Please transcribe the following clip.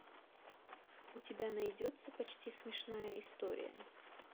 у тебя найдется почти смешная история